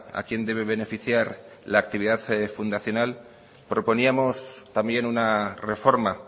a quién debe beneficiar la actividad fundacional proponíamos también una reforma